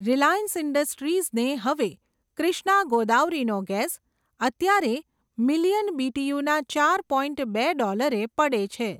Reliance ઇન્ડસ્ટ્રીઝને હવે, ક્રિષ્ના ગોદાવરીનો ગેસ, અત્યારે મિલિયન બીટીયુના ચાર પોઇન્ટ બે ડૉલરે પડે છે.